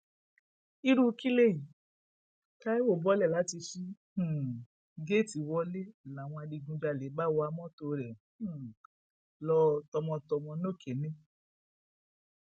irú kí lèyí taiwo bọọlẹ láti ṣí um géètì wọlẹ làwọn adigunjalè bá wa mọtò rẹ um lọ tọmọtọmọ nokenne